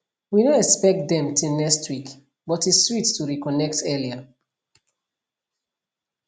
we no expect dem till next week but e sweet to reconnect earlier